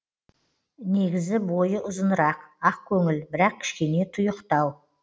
негізі бойы ұзынырақ ақкөңіл бірақ кішкене тұйықтау